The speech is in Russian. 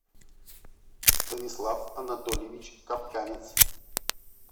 станислав анатольевич капканец